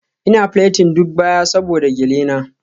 Ina plating duk baya saboda gele na.